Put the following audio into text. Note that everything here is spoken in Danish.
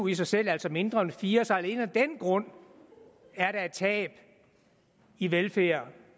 i sig selv altså mindre end fire så alene af den grund er der et tab i velfærd